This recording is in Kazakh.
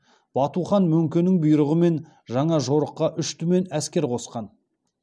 бату хан мөңкенің бұйрығымен жаңа жорыққа үш түмен әскер қосқан